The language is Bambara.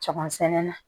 Cɛbsɛnɛ na